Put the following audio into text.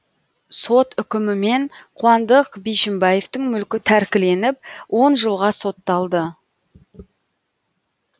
сот үкімімен қуандық бишімбаевтің мүлкі тәркіленіп он жылға сотталды